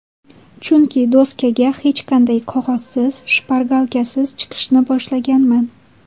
Chunki doskaga hech qanday qog‘ozsiz, shpargalkasiz chiqishni boshlaganman.